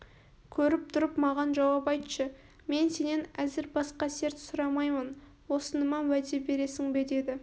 көріп тұрып маған жауап айтшы мен сенен әзір басқа серт сұрамаймын осыныма уәде бересің бе деді